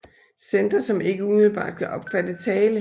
Centre som ikke umiddelbart kan opfatte tale